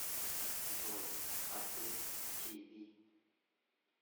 джой хатыб ти ви